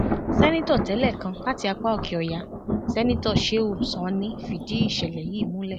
sẹńtítọ tẹlẹ kan láti apá òkèọyà sẹńtítọ shehu sanni fìdí ìṣẹlẹ yìí múlẹ